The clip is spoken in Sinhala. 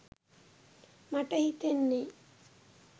මට හිතෙන්නේ.